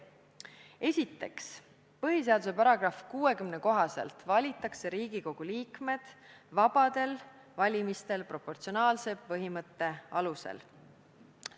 Esiteks, põhiseaduse § 60 kohaselt valitakse Riigikogu liikmed vabadel valimistel proportsionaalsuse põhimõtte alusel.